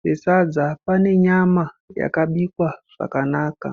pesadza pane nyama yakabikwa zvakanaka.